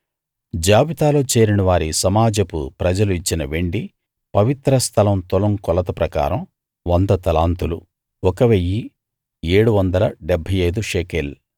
జాబితాలో చేరినవారి సమాజపు ప్రజలు ఇచ్చిన వెండి పవిత్ర స్థలం తులం కొలత ప్రకారం 100 తలాంతులు 1 775 షెకెల్